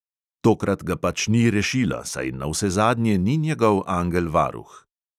Tokrat ga pač ni rešila, saj navsezadnje ni njegov angel varuh.